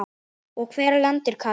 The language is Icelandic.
og Hvar er landið Katar?